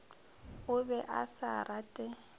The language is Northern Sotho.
o be a sa rate